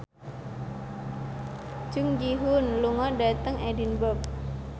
Jung Ji Hoon lunga dhateng Edinburgh